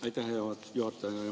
Aitäh, hea juhataja!